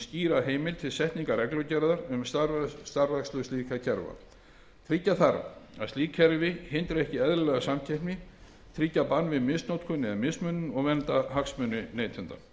skýra heimild til setningar reglugerðar um starfrækslu slíkra kerfa tryggja þarf að slík kerfi hindri ekki eðlilega samkeppni tryggja bann við misnotkun eða mismunun og vernda hagsmuni neytenda